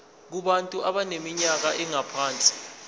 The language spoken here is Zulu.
kubantu abaneminyaka engaphansi